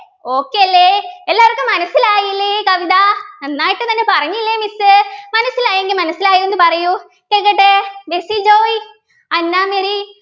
okay അല്ലെ എല്ലാവർക്കും മനസ്സിലായില്ലേ ഈ കവിത നന്നായിട്ട് തന്നെ പറഞ്ഞില്ലേ Miss മനസ്സിലായെങ്കിൽ മനസ്സിലായെന്ന് പറയൂ കേക്കട്ടെ ബേസിൽ ജോയ് അന്നാ മെറി